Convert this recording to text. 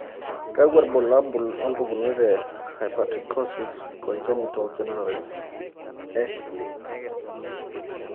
Kakwa ibulabul wompukunot e Hypertrichosis congenital generalized X linked?